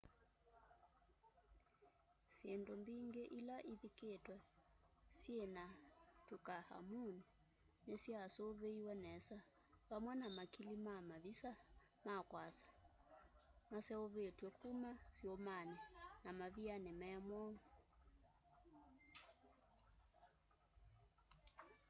syĩndũ mbĩngĩ ila ithikĩtwe syĩna tũtankhamũn nĩsyasuviiwe nesa vamwe na makili ma mavisa ma kwasa maseũvĩtwe kũma syũmanĩ na mavĩanĩ me mwoo